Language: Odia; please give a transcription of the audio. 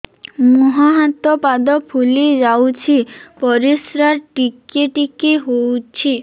ମୁହଁ ହାତ ପାଦ ଫୁଲି ଯାଉଛି ପରିସ୍ରା ଟିକେ ଟିକେ ହଉଛି